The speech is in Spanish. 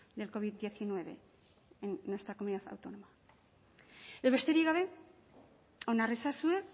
del covid diecinueve en nuestra comunidad autónoma eta besterik gabe onar ezazue